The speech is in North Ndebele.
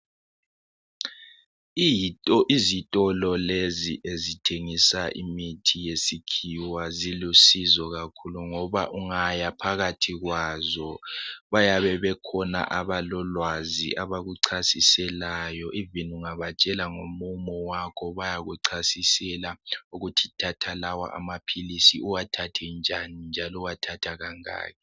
Izitolo lezi ezithengisa imithi yesikhiwa ziluncedo kakhulu ngoba ungaya phakathi kwazo bayabe bekhona abalolwazi abakuchasiselayo noma ungabatshela ngomumo wakho bayakuchasisela ukuthi thatha lawa amaphilisi uwathathe njani njalo uwathatha kangaki.